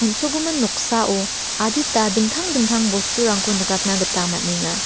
on·sogimin noksao adita dingtang dingtang bosturangko nikatna gita man·enga.